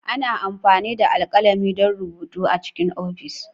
Ana amfani da alkalami don rubutu A cikin ofis.